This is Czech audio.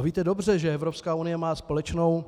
A víte dobře, že Evropská unie má společnou